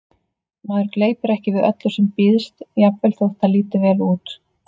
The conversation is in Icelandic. Maður gleypir ekki við öllu sem býðst, jafnvel þótt það líti vel út